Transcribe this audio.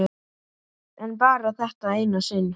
En bara þetta eina sinn.